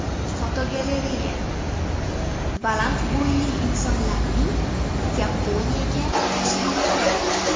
Fotogalereya: Baland bo‘yli insonlarning Yaponiyaga tashrifi.